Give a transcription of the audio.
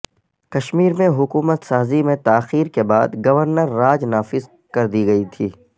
کشمیر میں حکومت سازی میں تاخیر کے بعد گورنر راج نافذ کر دی گئی تھی